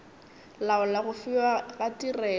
laola go fiwa ga tirelo